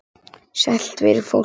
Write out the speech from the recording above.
Sælt veri fólkið!